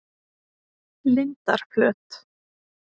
Lindarflöt